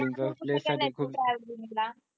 कुठल्या batch